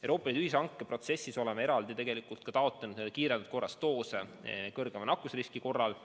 Euroopa Liidu ühishanke protsessis oleme eraldi taotlenud kiirendatud korras doose kõrgema nakkusriski korral.